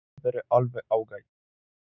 Nei hún hefur alltaf verið alveg ágæt.